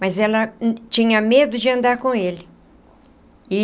Mas ela tinha medo de andar com ele.